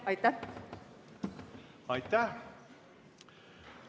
Aitäh!